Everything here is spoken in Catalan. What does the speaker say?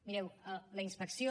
mireu la inspecció